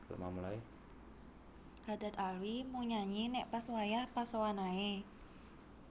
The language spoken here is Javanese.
Haddad Alwi mung nyanyi nek pas wayah posoan ae